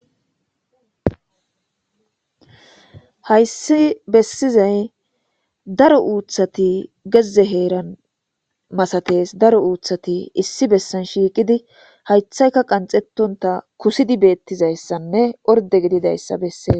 Hayss besizay daro uththati geze heeran masates daro uththati issi bessani shiqidi issayikka qanxetonta kusidi betizayisanne ordde gididayissa besses